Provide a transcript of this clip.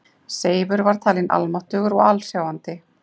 Seifur var talin almáttugur og alsjáandi.